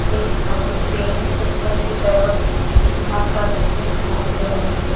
कई सारे पेन ऊपर की तरफ चूल्हा कर रखे दिखाई दे रहे हैं।